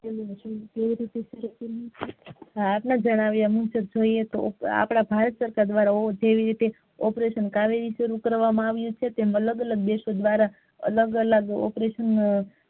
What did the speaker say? હા આપણા જાણાવીયા મુજબ કોઈ એક આપડા ભારત સરકાર દ્વારા જેવી રીતે operation કાવેરી શરુ કરવામાં આવ્યુ છે તેમ અલગ અલગ દેશો દ્વારા અલગ અલગ opration